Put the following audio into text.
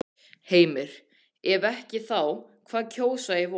Heimir: Ef ekki þá hvað kjósa í vor?